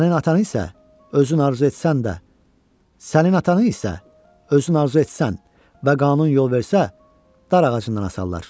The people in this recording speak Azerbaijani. Sənin atanı isə özün arzu etsən də, sənin atanı isə özün arzu etsən və qanun yol versə, dar ağacından asarlar.